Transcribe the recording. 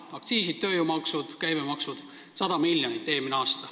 Aktsiisid, tööjõumaksud, käibemaks – 100 miljonit.